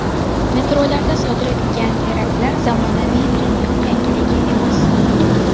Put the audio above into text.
Metrolarda sodir etilgan teraktlar zamonaviy dunyo yangiligi emas.